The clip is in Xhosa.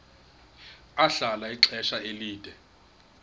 ahlala ixesha elide